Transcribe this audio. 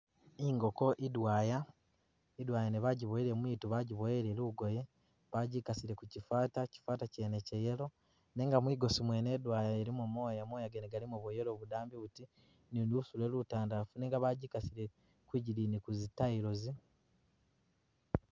Ngoko idwaya idwaya nyene bajibowele mwitu bajibowele lugoye bajikasile kukyi’ fata kyifata kyene Kya’yellow nenga mwigosi mwene idwaya ilimo mwoya mwoya gene galimo bwa’yellow budambi luti ni lusule lutandafu nenga bajikasile kwidigiyi kuzi, tiles.